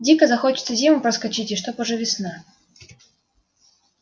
дико хочется зиму проскочить и чтобы уже весна